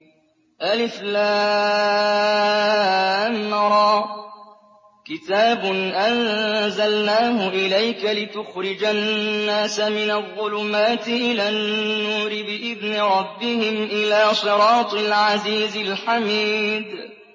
الر ۚ كِتَابٌ أَنزَلْنَاهُ إِلَيْكَ لِتُخْرِجَ النَّاسَ مِنَ الظُّلُمَاتِ إِلَى النُّورِ بِإِذْنِ رَبِّهِمْ إِلَىٰ صِرَاطِ الْعَزِيزِ الْحَمِيدِ